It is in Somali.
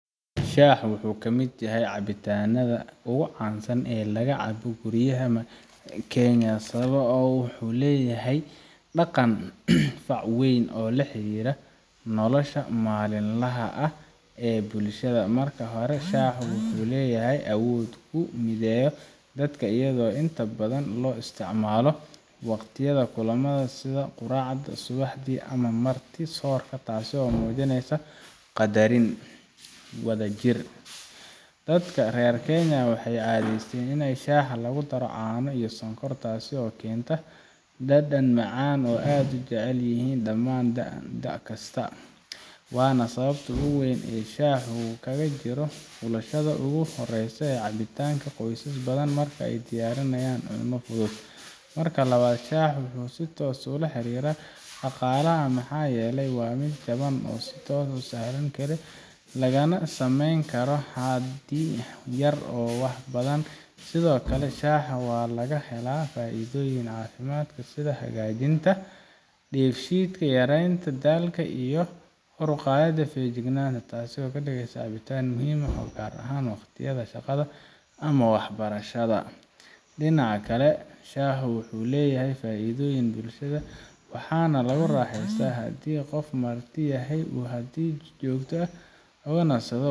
Shaaha wuxu kamid yahay cabitanadha ugu cansan ee lagacabo guriyaha Kenya sawabo wuxu leyahay dhaqan fac weyn oo laxirira nolasha malinlaha ah ee bulshadha marki hora shaaha wuxu leyahay awood u midheya dadka ayago inta badhan lo isticmalo waqtiyadha kulumadha sitha quracda subaxdi ama marti soorka taaso mujineysa qadarin wadhajir dadka rer kenya waxay cadheysten ina shaaha lagudaro caano iya sonkor taaso kenta dadan macaan oo aad ujecelyihin damaan doc kaska Wana sawabta ugu weyn ee shaahu kagajiro qabashadha ugu horeysay cabitanka qoysas badhan marka ay tiyarinayan cuna fudhud. Marka labad shaaha waxa si toos ulaxirira daqalaha maxayeli wa mid jaban oo si toos usaran Kara laganasameyn Kara hadii yaar wax badhan sidhokale shaaha walagahela faidhoyin cafimaad sidha hagajinta deef shidka yareynta dalka iyo kor uqadhida fejignanta taaso kadigeysa cabitaan muhim oo gaar ahaan waqtiyadha shaqadha ama wax barashadha. Dinaca kale shaaha wuxu leyahay faidhoyin bulshadha waxa lagu raxeysta hadii qof Marti yahay oo hadi jogta ah o nasadho.